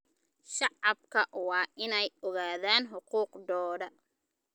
Shacabku waa inay ogaadaan xuquuqdooda.